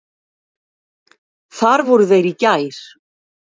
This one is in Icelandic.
Þar voru þeir í gær.